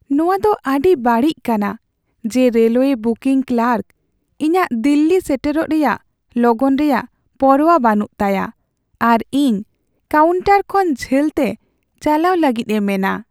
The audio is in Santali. ᱱᱚᱣᱟ ᱫᱚ ᱟᱹᱰᱤ ᱵᱟᱹᱲᱤᱡ ᱠᱟᱱᱟ ᱡᱮ ᱨᱮᱞᱳᱭᱮ ᱵᱤᱠᱤᱝ ᱠᱟᱨᱠ ᱤᱧᱟᱹᱜ ᱫᱤᱞᱞᱤ ᱥᱮᱴᱮᱨᱚᱜ ᱨᱮᱭᱟᱜ ᱞᱚᱜᱚᱱ ᱨᱮᱭᱟᱜ ᱯᱚᱨᱵᱟ ᱵᱟᱹᱱᱩᱜ ᱛᱟᱭᱟ ᱟᱨ ᱤᱧ ᱠᱟᱣᱩᱱᱴᱟᱨ ᱠᱷᱚᱱ ᱡᱷᱟᱹᱞᱛᱮ ᱪᱟᱞᱟᱣ ᱞᱟᱹᱜᱤᱫ ᱮ ᱢᱮᱱᱟ ᱾